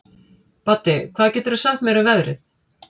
Baddi, hvað geturðu sagt mér um veðrið?